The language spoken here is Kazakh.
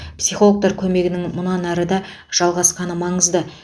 психологтар көмегінің мұнан ары да жалғасқаны маңызды